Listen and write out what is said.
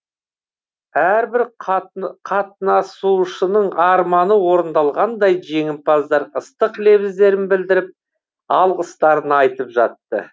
әрбір қатысушының арманы орындалғандай жеңімпаздар ыстық лебіздерін білдіріп алғыстарын айтып жатты